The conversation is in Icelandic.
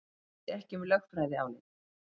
Vissi ekki um lögfræðiálit